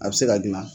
A bɛ se ka dilan